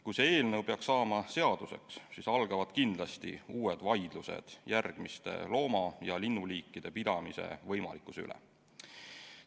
Kui see eelnõu peaks saama seaduseks, siis algavad kindlasti uued vaidlused järgmiste looma‑ ja linnuliikide pidamise võimalikkuse üle.